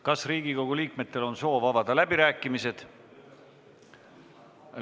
Kas Riigikogu liikmetel on soov avada läbirääkimised?